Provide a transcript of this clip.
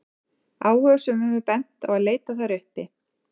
áhugasömum er bent á að leita þær uppi